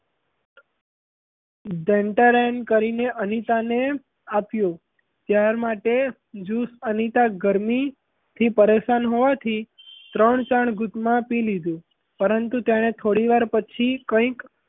ઢેણ -ટેણ કરીને અનિતાને આપ્યું તાર માટે juice અનિતા ગરમીથી પરેશાન હોવાથી ત્રણ ચાર ઘૂટમાં પી લીધું પરંતુ તેને થોડીવાર પછી કઈક,